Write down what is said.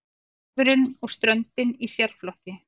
Garðurinn og ströndin í sérflokki.